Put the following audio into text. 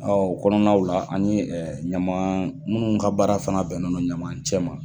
O kɔnɔnaw la an ye ɲaman minnu ka baara fana bɛnnen no ɲaman cɛ ma